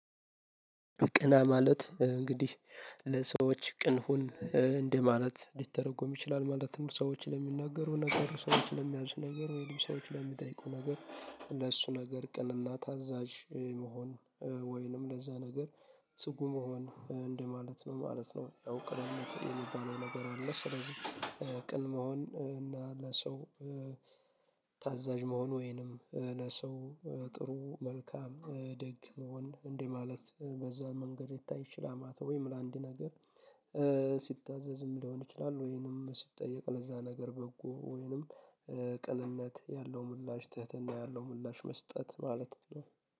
ቅና ማለት እንግዲህ ለሰዎች ቅን ሁን እንደማለት ሊተረጎም ይችላል። ማለትም ሰዎች ለሚናገሩህ ነገር ሰዎች ለሚያዙህ ነገር ወይም ሰዎች ለሚጠይቁህ ነገር ለእሱ ነገር ቅን እና ታዛዥ መሆን ወይንም ለዛ ነገር ጽጉ መሆን እንደማለት ነው ማለት ነው። ያው ቅንነት የሚባለው ነገር አለ። ስለዚህ ቅን መሆን እና ለሰው ታዛዥ መሆን ወይንም ለሰው ጥሩ መልካም ደግ መሆን እንደማለት በዛ መንገድ ሊታይ ይችላማተ። ወይም ለአንድ ነገር ሲታዘዝም ሊሆን ይችላል። ወይንም ሲጠየቅ ለዛ ነገር በጎ ወይንም ቅንነት ያለው ምላሽ ትህትና ያለው ምላሽ መስጠት ማለት ነው